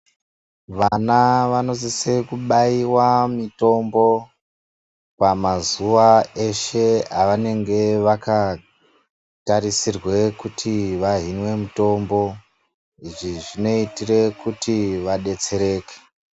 Vana vanosise kubaiwa mitombo, pamazuwa eshe avanenge vakatarisirwe kuti vahinwe mitombo .Izvi zvinoitire kuti vadetsereke.